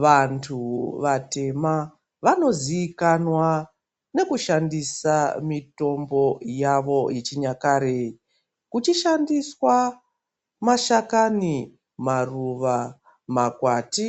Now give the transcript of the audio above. Vantu vatema vanoziikanwa nekushandisa mitombo yavo yechinyakare kuchishandiswa mashakani, maruva, makwati